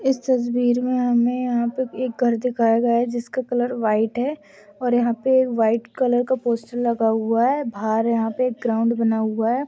इस तस्वीर मे हमे यहाँ पे एक घर दिखाया गया है जिसका कलर व्हाइट हैं और यहाँ पे व्हाइट कलर का पोस्टर लगा हुआ हैं बाहर यहाँ पे ग्राउंड बना हुआ हैं।